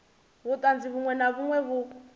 vhuṱanzi vhuṅwe na vhuṅwe vhu